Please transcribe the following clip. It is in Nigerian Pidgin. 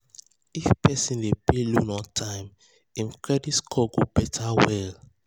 if person dey pay loan on time him credit score go better well.